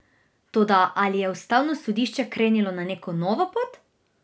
Toda, ali je ustavno sodišče krenilo na neko novo pot?